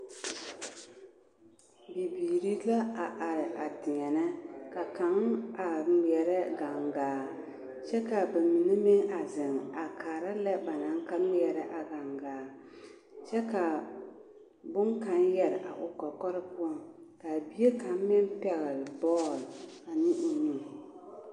Bibiiri la a are a deɛnɛ ka kaŋ a ŋmeɛrɛ ɡaŋɡaa kyɛ ka ba mine meŋ a zeŋ kaara lɛ ba naŋ ŋmeɛrɛ a ɡaŋɡaa kyɛ ka bone kaŋa yɛre a o kɔkɔre poɔ ka a bie kaŋ meŋ pɛɡele bɔɔle ane o nu.